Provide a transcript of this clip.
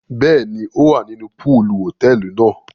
Bẹẹni, o wá nínú poolu hotẹẹli náà